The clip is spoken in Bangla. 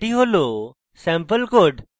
এটি স্যাম্পল code